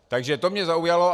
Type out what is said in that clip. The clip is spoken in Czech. Takže to mě zaujalo.